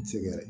Sɛgɛrɛ